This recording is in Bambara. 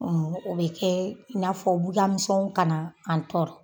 Ɔn o be kɛ i n'a fɔ bugan misɛnw ka na an tɔɔrɔ